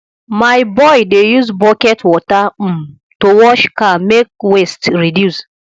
my boy dey use bucket water um to wash car make waste reduce